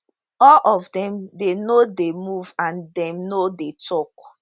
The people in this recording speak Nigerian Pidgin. all of dem dey no dey move and dem no dey tok